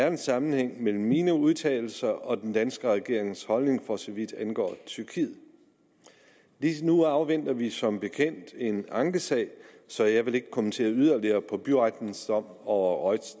en sammenhæng mellem mine udtalelser og den danske regerings holdning for så vidt angår tyrkiet lige nu afventer vi som bekendt en ankesag så jeg vil ikke kommentere yderligere på byrettens dom over roj